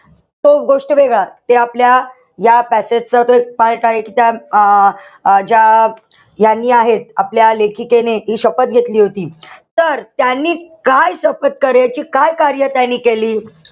तो गोष्ट वेगळा. ते आपल्या या passage च तो एक part आहे कि त्या अं ज्या ह्यांनी आहेत, आपल्या लेखिकेने हि शपथ घेतली होती. तर त्यांनी काय शपथ कार्याची काय कार्य त्यांनी केली?